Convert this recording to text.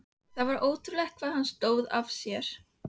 Það var ótrúlegt hvað hann stóð af sér.